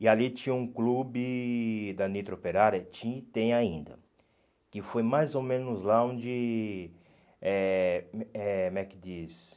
E ali tinha um clube da Nitro Operária, tinha e tem ainda, que foi mais ou menos lá onde, eh eh como é que diz?